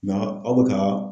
Nka aw bɛ ka.